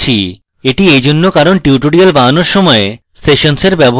এটি এইজন্য কারণ tutorials বানানোর সময় আমার সেশনসের ব্যবহার দরকার হয়েছিল